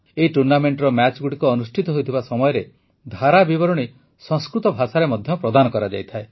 ଏହି ଟୁର୍ଣ୍ଣାମେଂଟର ମ୍ୟାଚଗୁଡ଼ିକ ଅନୁଷ୍ଠିତ ହେଉଥିବା ସମୟରେ ଧାରାବିବରଣୀ ସଂସ୍କୃତ ଭାଷାରେ ମଧ୍ୟ ପ୍ରଦାନ କରାଯାଇଥାଏ